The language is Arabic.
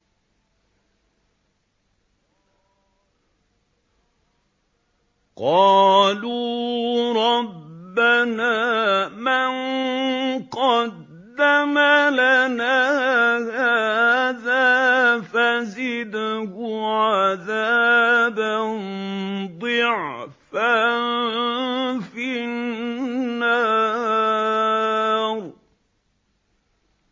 قَالُوا رَبَّنَا مَن قَدَّمَ لَنَا هَٰذَا فَزِدْهُ عَذَابًا ضِعْفًا فِي النَّارِ